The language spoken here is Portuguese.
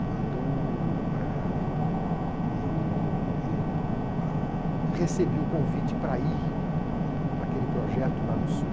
Quando, ah, eu eu, ãh, recebi o convite para ir para aquele projeto lá no Sul,